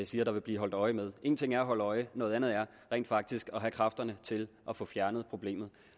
siger der vil blive holdt øje med en ting er at holde øje noget andet er rent faktisk at have kræfterne til at få fjernet problemet